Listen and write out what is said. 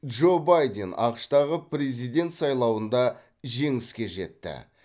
джо байден ақш тағы президент сайлауында жеңіске жетті